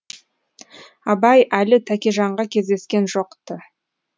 абай әлі тәкежанға кездескен жоқ ты